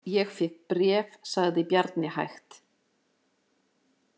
Ég fékk bréf, sagði Bjarni hægt.